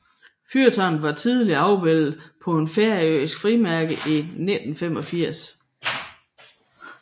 Fyrtårnet var tillige afbildet på et færøsk frimærke i 1985